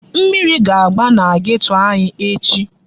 Mmiri ga-agba na geto anyị echi.